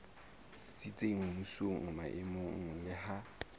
tsitsitseng mmusong maemong le ha